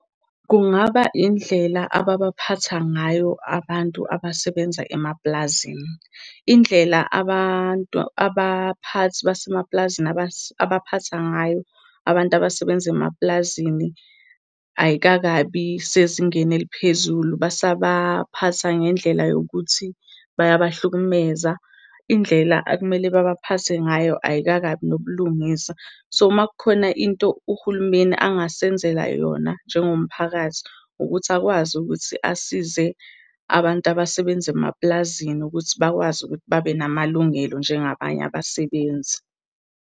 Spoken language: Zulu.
Kungaba indlela ababaphatha ngayo abantu abasebenza emaplazini. Indlela abantu, abaphathi basemaplazini abaphatha ngayo abantu abasebenza emaplazini ayikakabi sezingeni eliphezulu basabaphatha ngendlela yokuthi bayabahlukumezeka. Indlela ekumele babaphathe ngayo ayikakabi nobulungisa. So, uma kukhona into uhulumeni angasenzeli yona njengomphakathi, ukuthi akwazi ukuthi asize abantu abasebenza emaplazini ukuthi bakwazi ukuthi babenamalungelo njengabanye abasebenzi.